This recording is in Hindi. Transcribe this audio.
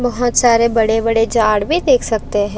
बहुत सारे बड़े बड़े जाड़ भी देख सकते है।